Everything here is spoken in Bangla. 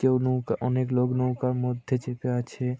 কেও নৌকা অনেক লোক নৌকার মধ্যে চেপে আছে ।